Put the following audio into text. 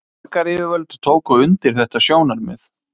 Borgaryfirvöld tóku undir þetta sjónarmið